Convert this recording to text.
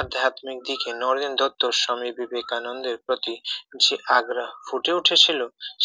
আধ্যাত্বিক দিকে নরেন দত্ত স্বামী বিবেকানন্দের প্রতি যে আগ্রহ ফুটে উঠেছিল